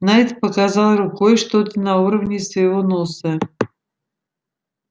найд показал рукой что-то на уровне своего носа